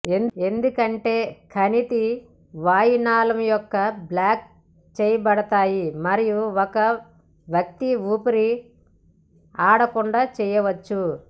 ఎందుకంటే కణితి వాయు నాళము యొక్క బ్లాక్ చేయబడతాయి మరియు ఒక వ్యక్తి ఊపిరి ఆడకుండా చేయవచ్చు